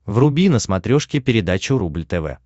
вруби на смотрешке передачу рубль тв